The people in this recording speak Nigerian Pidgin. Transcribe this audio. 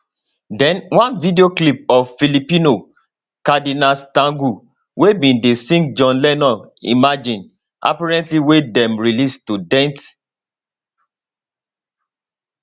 den one video clip of filipino cardinal tagle wey bin dey sing john lennon imagine apparently wey dem release to dent